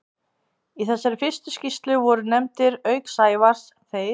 Í þessari fyrstu skýrslu voru nefndir, auk Sævars, þeir